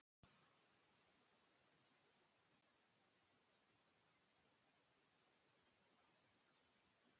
Þar er skýrt frá niðurstöðum nefndar sem rannsakað hefur mál